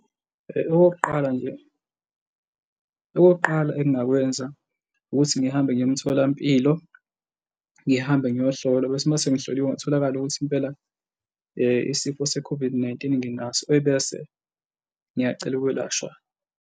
Okokuqala nje, okokuqala engingakwenza ukuthi ngihambe ngiye emtholampilo ngihambe ngiyohlola bese kuthi uma sengihloliwe kutholakale ukuthi impela isifo se-COVID-19 nginaso ebese ngiyacela ukwelashwa.